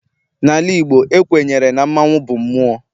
N'ala Igbo, ekwenyere na mmanwu bụ mmụọ.